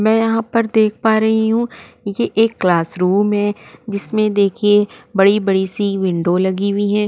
में यहाँ पर देख पा रही हु ये एक क्लासरूम है जिसमें देखिए बड़ी बड़ी सी विन्डो लगी हुई है।